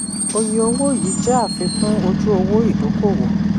oye owó yìí jẹ́ àfikún ojú owó ìdókòwò.